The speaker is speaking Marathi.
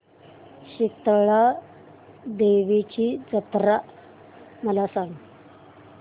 शितळा देवीची जत्रा मला सांग